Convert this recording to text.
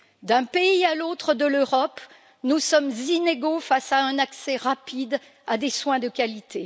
D'un pays à l'autre de l'Europe, nous sommes inégaux face à un accès rapide à des soins de qualité.